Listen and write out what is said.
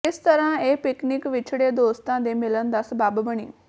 ਇਸ ਤਰ੍ਹਾਂ ਇਹ ਪਿਕਨਿਕ ਵਿਛੜੇ ਦੋਸਤਾਂ ਦੇ ਮਿਲਣ ਦਾ ਸਬੱਬ ਬਣੀ